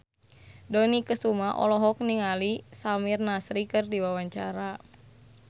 Dony Kesuma olohok ningali Samir Nasri keur diwawancara